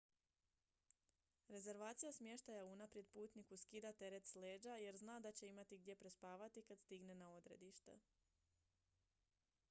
rezervacija smještaja unaprijed putniku skida teret s leđa jer zna da će imati gdje prespavati kad stigne na odredište